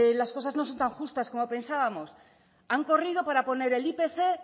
las cosas no son tan justas como pensábamos han corrido para poner el ipc